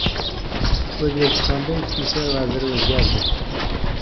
O‘zbekistonda Ichki ishlar vaziri o‘zgardi.